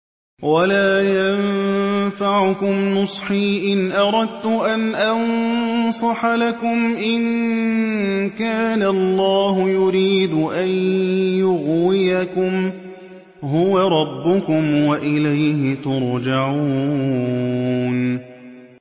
وَلَا يَنفَعُكُمْ نُصْحِي إِنْ أَرَدتُّ أَنْ أَنصَحَ لَكُمْ إِن كَانَ اللَّهُ يُرِيدُ أَن يُغْوِيَكُمْ ۚ هُوَ رَبُّكُمْ وَإِلَيْهِ تُرْجَعُونَ